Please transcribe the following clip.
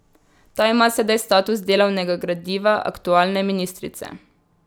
Ta ima sedaj status delavnega gradiva aktualne ministrice.